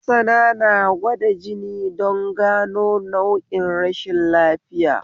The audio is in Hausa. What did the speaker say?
Mansana na gwada jini don gano nau'in rashin lafiya